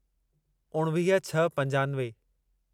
उणिवीह छह पंजानवे